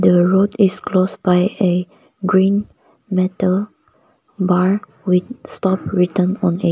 the road is closed by a green metal bar with stop written on it.